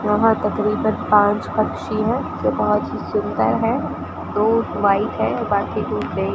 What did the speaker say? वहां तक़रीबन पांच पक्षी है जो बहोत ही सुंदर है दो व्हाइट है बाकी दो --